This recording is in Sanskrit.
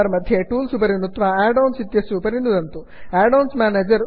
मेन्यु बार् मध्ये टूल्स् टूल्स् उपरि नुत्वा add ओन्स् आड् आन्स् इत्यस्य उपरि नुदन्तु